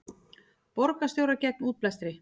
Borgarstjórar gegn útblæstri